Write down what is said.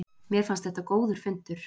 Mér fannst þetta góður fundur